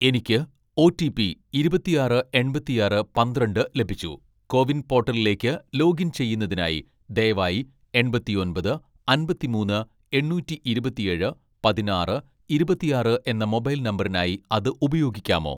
എനിക്ക് ഓ.ടി.പി ഇരുപത്തിയാറ് എൺപത്തിയാറ് പന്ത്രണ്ട് ലഭിച്ചു, കോവിൻ പോർട്ടലിലേക്ക് ലോഗിൻ ചെയ്യുന്നതിന് ദയവായി എൺപത്തൊമ്പത് അമ്പത്തിമൂന്ന് എണ്ണൂറ്റി ഇരുപത്തിയേഴ് പതിനാറ് ഇരുപത്തിയാറ് എന്ന മൊബൈൽ നമ്പറിനായി അത് ഉപയോഗിക്കാമോ